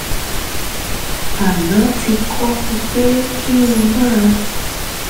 aná ti kọ́ mi pé kí n máa